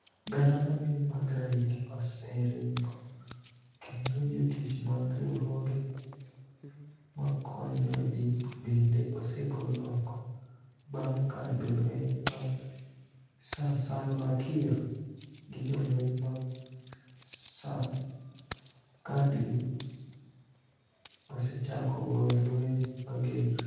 Gania manig'eniy mag raia oserinigo, kenido jotich mag riwruoge makoniyo ji benide osegol oko, banig ' ka jolweniy mag Sir Saalva Kirr gi jolweniy mag sirkanidgi osechako goyo lweniy mager.